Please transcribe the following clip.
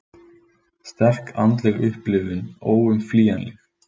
Sterk andleg upplifun óumflýjanleg